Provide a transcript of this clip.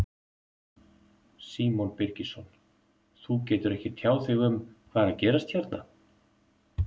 Símon Birgisson: Þú getur ekki tjáð þig um hvað er að gerast hérna?